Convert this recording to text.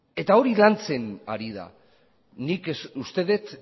eta hori lantzen ari da nik uste dut